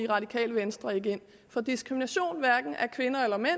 radikale venstre ikke ind for diskrimination hverken af kvinder eller mænd og